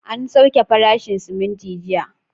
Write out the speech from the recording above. An sauke farashin siminti jiya